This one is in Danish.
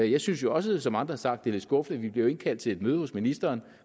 jeg synes jo også som andre har sagt det er lidt skuffende at vi bliver indkaldt til et møde hos ministeren